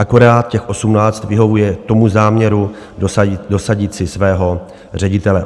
Akorát těch 18 vyhovuje tomu záměru dosadit si svého ředitele.